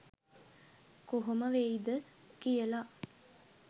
කොහොම වෙයිද කියල